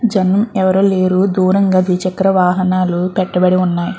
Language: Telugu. జనం ఎవరు లేరు దూరంగా ద్వి చెక్ర వాహనాలు పెట్టబడి వున్నాయ్.